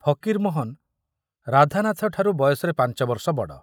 ଫକୀରମୋହନ ରାଧାନାଥ ଠାରୁ ବୟସରେ ପାଞ୍ଚବର୍ଷ ବଡ଼।